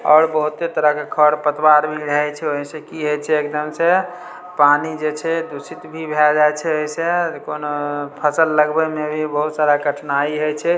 और बहुते तरह के खरपतवार भी रहे छै ओय से की होय छै एकदम से पानी जे छै दूषित भी भाए जाय छै एसे कोनो फसल लगबे मे इ बहुत सारा कठिनाई हेय छै ।